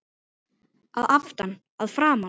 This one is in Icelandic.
Að aftan, að framan?